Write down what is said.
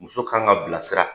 Muso kan ka bilasira